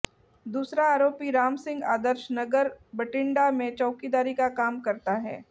दूसरा आरोपी राम सिंह आदर्श नंगर बठिंडा में चौकीदारी का काम करता है